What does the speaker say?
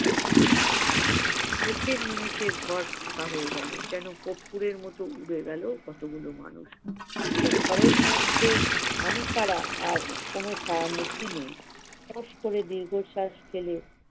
চোখের নিমিষে ঘর ফাঁকা হয় গেলো! যেন কর্পূরের মতো উড়ে গেলো কতগুলো মানুষ এইসব ঘরের মধ্যে আমি ছাড়া আর কোন ছায়া-মূর্তি নেই। অবশ্য আমি দীর্ঘশ্বাস ফেলে-